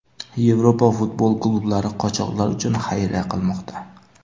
Yevropa futbol klublari qochoqlar uchun xayriya qilmoqda.